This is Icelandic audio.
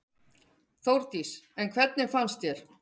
Þórdís: En hvernig fannst þér?